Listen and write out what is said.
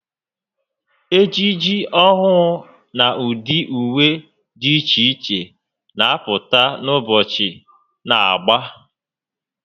Ejiji ọhụụ na ụdị ùwé dị iche iche n'apụta ka ụbọchị na-agba